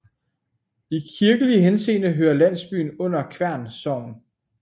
I kirkelig henseende hører landsbyen under Kværn Sogn